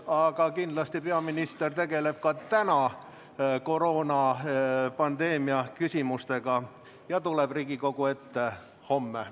Aga kindlasti peaminister tegeleb ka täna koroonapandeemia küsimustega ja tuleb Riigikogu ette homme.